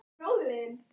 Hann þekkir mig.